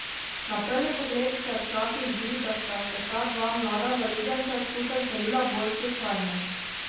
Na prvi pogled se včasih zdi, da sta se ta dva mlada zaljubljenca skupaj vselila bolj slučajno.